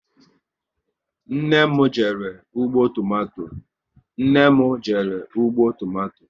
Nne m jere ọgbọ tomato